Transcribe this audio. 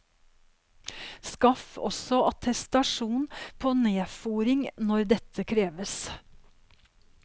Skaff også attestasjon på nedfôring når dette kreves.